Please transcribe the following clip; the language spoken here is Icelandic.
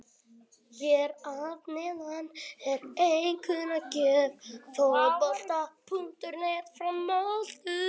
Hér að neðan er einkunnagjöf Fótbolta.net frá Möltu.